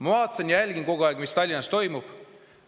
Ma vaatan, jälgin kogu aeg, mis Tallinnas toimub.